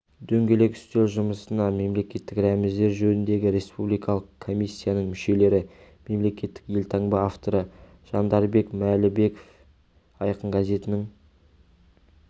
дөңгелек үстел жұмысына мемлекеттік рәміздер жөніндегі республикалық комиссияның мүшелері мемлекеттік елтаңба авторы жандарбек мәлібеков айқын газетінің